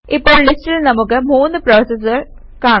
ഇപ്പോൾ ലിസ്റ്റിൽ നമുക്ക് 3 പ്രോസസസ് കാണാം